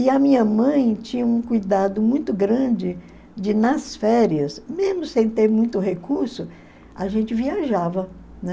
E a minha mãe tinha um cuidado muito grande de, nas férias, mesmo sem ter muito recurso, a gente viajava, né?